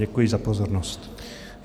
Děkuji za pozornost.